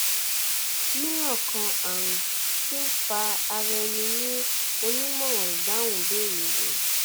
milan kan arun ti nfa ara ẹni ni onimọran idahun ibeere rẹ